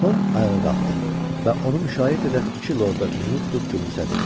Tom ayağa qalxdı və onu müşayiət edən iki lorda üzünü tutub gülümsədi.